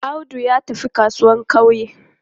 Audu ya tafi kasuwan ƙauye.